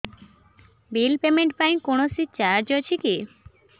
bill payment ପାଇଁ କୌଣସି charge ଅଛି କି